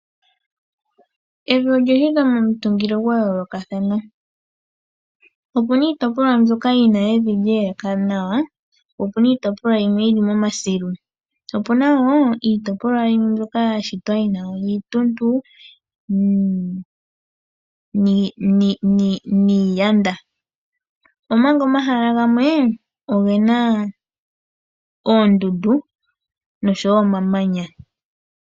Evi olya shitwa momutungilo gwa yoolokathana. Opu na iitopolwa mbyoka yi na evi lye elekana nawa, po opu na iitopolwa yimwe yi li momasilu, po opu na wo iitopolwa yimwe mbyoka ya shitwa yi na iituntu niiyanda, omanga omahala gamwe oge na oondundu noshowo omamanya.